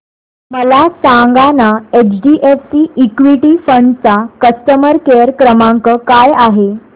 मला सांगाना HDFC equity fund चा कस्टमर केअर क्रमांक काय आहे